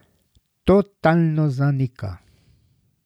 Totalno zanika.